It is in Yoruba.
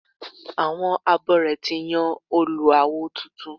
Àwọn abore ti yàn Olú awo tuntun